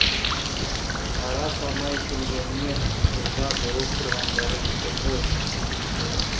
қара салмай келгеніне ыза болып тұрғандары екен ғой